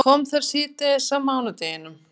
Og kom þar síðdegis á mánudeginum.